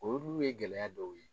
Olu ye gɛlɛya dɔw ye.